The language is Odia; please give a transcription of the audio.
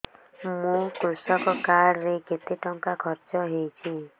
ମୋ କୃଷକ କାର୍ଡ ରେ କେତେ ଟଙ୍କା ଖର୍ଚ୍ଚ ହେଇଚି